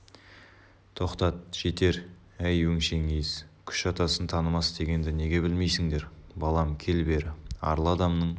тоқтат жетер әй өңшең ез күш атасын танымас дегенді неге білмейсіңдер балам кел бері арлы адамның